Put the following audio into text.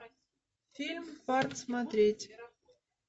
фильм парк смотреть